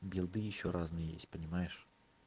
билды ещё разные есть понимаешь